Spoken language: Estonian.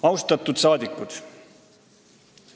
Austatud rahvasaadikud!